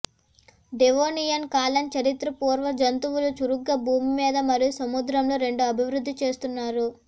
Devonian కాలం చరిత్రపూర్వ జంతువులు చురుకుగా భూమి మీద మరియు సముద్రంలో రెండు అభివృద్ధి చేస్తున్నారు